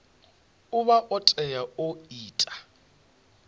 vha o tea u ita